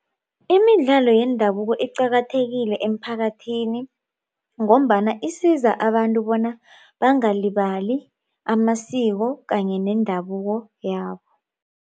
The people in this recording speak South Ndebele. Imidlalo yendabuko iqakathekile eemphakathini ngombana isiza abantu bona bangalibali amasiko kanye nendabuko yabo.